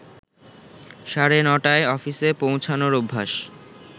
সাড়ে নটায় অফিসে পৌঁছানোর অভ্যাস